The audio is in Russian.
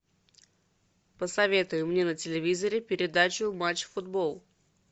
посоветуй мне на телевизоре передачу матч футбол